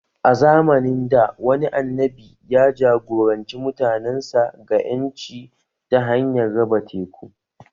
A zamanin dā, wani annabi ya ja-goranci mutanensa ga ƴanci ta hanyar raba teku